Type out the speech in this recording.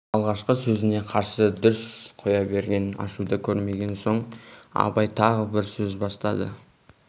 алғашқы сөзіне қарсы дүрсе қоя берген ашуды көрмеген соң абай тағы бір сөз бастады